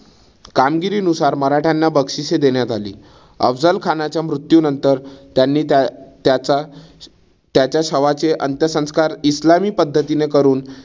कामगिरीनुसार मराठ्यांना बक्षिसे देण्यात आली. अफझल खानाच्या मृत्यूनंतर त्यांनी त्याचा त्याच्या शवाचे अंत्यसंस्कार ईस्लामी पद्धतीने करून